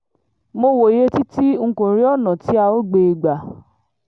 mo wòye títí n kò rí ọ̀nà tí a óò gbé e gbà